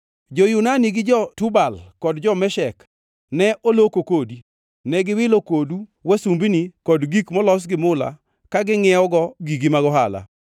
“ ‘Jo-Yunani, gi jo-Tubal kod jo-Meshek ne oloko kodi; ne giwilo kodu wasumbini kod gik molos gi mula ka gingʼiewogo gigi mag ohala.